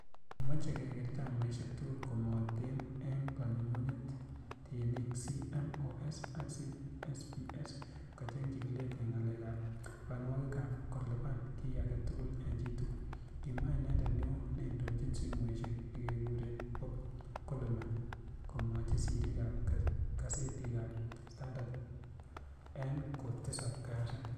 "Kimoche keger chamaisiek tugul komoten en kong'unyng'unyoni-Tienik, CMOs ak CSPs-Kocheng chigilet en ngalekab lipanwogik ak ko lipan ki agetugul en chitugul,"Kimwa inendet neo neindochin simoisiek nekekuren Bob Collymore komwochin sirik ab kasetit ab standard en ko Tisap kasi.